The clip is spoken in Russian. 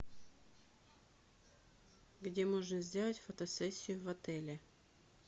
где можно сделать фотосессию в отеле